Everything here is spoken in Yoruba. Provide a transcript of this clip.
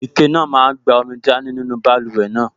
Ike náà máa n gba omi dání nínú báluwẹ̀ náà